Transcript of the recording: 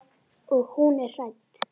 Og hún er hrædd.